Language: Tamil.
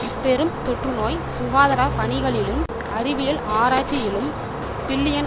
இப்பெரும் தொற்றுநோய் சுகாதர பணிகளிலும் அறிவியல் ஆராய்ச்சியிலும் பில்லியன்